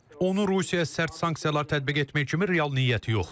Onun Rusiyaya sərt sanksiyalar tətbiq etmək kimi real niyyəti yoxdur.